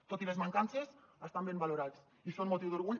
tot i les mancances estan ben valorats i són motiu d’orgull